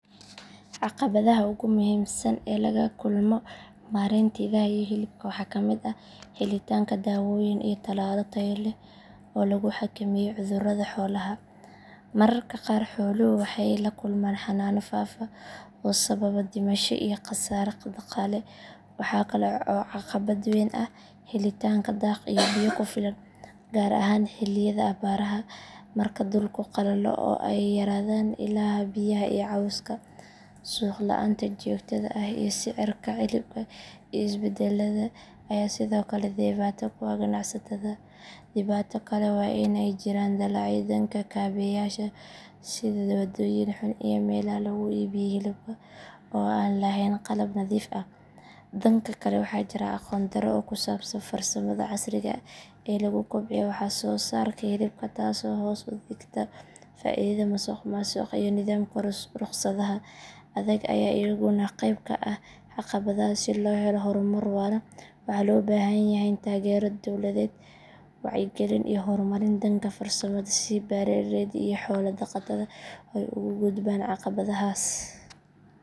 Caqabadaha ugu muhiimsan ee laga kulmo maareynta idaha iyo hilibka waxaa ka mid ah helitaanka daawooyin iyo talaallo tayo leh oo lagu xakameeyo cudurrada xoolaha. Mararka qaar xooluhu waxay la kulmaan xanuunno faafa oo sababa dhimasho iyo khasaare dhaqaale. Waxaa kale oo caqabad weyn ah helitaanka daaq iyo biyo ku filan, gaar ahaan xilliyada abaaraha marka dhulku qalalo oo ay yaraadaan ilaha biyaha iyo cawska. Suuq la’aanta joogtada ah iyo sicirka hilibka oo isbedbeddela ayaa sidoo kale dhibaato ku ah ganacsatada. Dhibaato kale waa in ay jiraan dillaacyo dhanka kaabeyaasha sida waddooyin xun iyo meelaha lagu iibiyo hilibka oo aan lahayn qalab nadiif ah. Dhanka kale waxaa jira aqoon darro ku saabsan farsamada casriga ah ee lagu kobciyo wax soo saarka hilibka taasoo hoos u dhigta faa'iidada. Musuqmaasuqa iyo nidaamka ruqsadaha adag ayaa iyaguna qayb ka ah caqabadaha. Si loo helo horumar waara, waxaa loo baahan yahay taageero dowladeed, wacyigelin iyo horumarin dhanka farsamada si beeraleyda iyo xoolo dhaqatada ay uga gudbaan caqabadahaas.